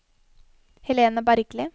Helena Bergli